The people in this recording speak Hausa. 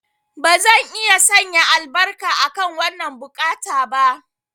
Bazan iya sanya albarka akan wannan buƙata ba.